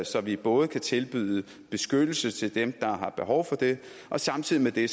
så vi både kan tilbyde beskyttelse til dem der har behov for det og samtidig med det